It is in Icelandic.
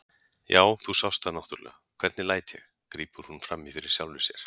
Já, þú sást það náttúrlega, hvernig læt ég, grípur hún fram í fyrir sjálfri sér.